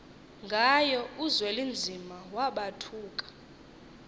ngayo uzwelinzima wabathuka